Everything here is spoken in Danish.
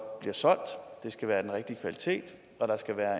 bliver solgt skal være af den rigtige kvalitet og der skal være